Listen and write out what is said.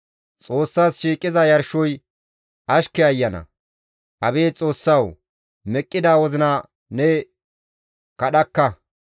Xoossas shiiqiza yarshoy ashke ayana; abeet Xoossawu! Meqqida wozina ne kadhakka.